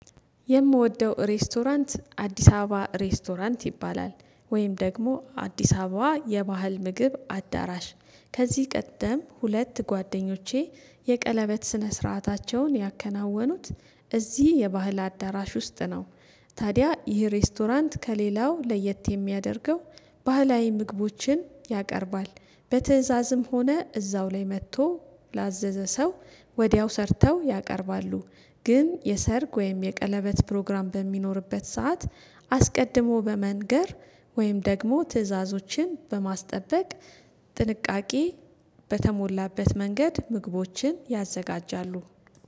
የምወደው ሬስቶራንት አዲስ አበባ ሬስቶራንት ይባላል። ወይም ደግሞ አዲስ አበባ የባህል ምግብ አዳራሽ ከዚህ ቀጥም ሁለት ጓደኞቼ የቀለበት ስነ ስርዓታቸውን ያከናወኑት እዚህ የባህል አዳራሽ ውስጥ ነው ታዲያ ይህ ሬስቶራንት ከሌላው ለየት የሚያደርገው ባህላዊ ምግቦችን ያቀርባል። በትእዛዝም ሆነ እዛው ላይ መጥቶ ላዘዘ ሰው ወዲያው ሰርተው ያቀርባሉ ግን የሰርግ ወይም የቀለበት ፕሮግራም በሚኖርበት ሰዓት አስቀድሞ በመንገር ወይም ደግሞ ትዕዛዞችን በማስጠበቅ ጥንቃቄ በተሞላበት መንገድ ምግቦችን ያዘጋጃሉ